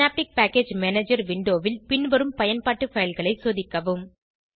synaptic package manager விண்டோவில் பின்வரும் பயன்பாட்டு பைல் களை சோதிக்கவும்